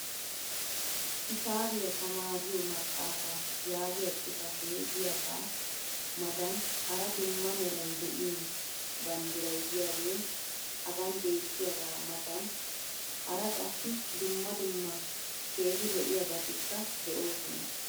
hisaabiya tamaariyo maxaafaa yaagiya xifatee diyaagaa matan hara dumma meray de'iyo banddiray diyaagee hagan beetiyaagaa matan hara qassi dumma dumma keehi lo'iyaabatikka de'oosona.